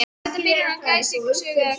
Er þetta byrjun á glæpasögu eða hvað?